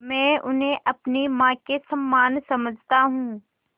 मैं उन्हें अपनी माँ के समान समझता हूँ